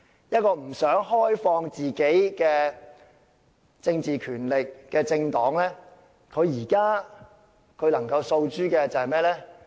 一個不想開放政治權力的政黨，現在能夠訴諸甚麼？